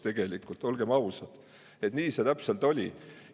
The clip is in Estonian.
Tegelikult olgem ausad, nii see täpselt oli!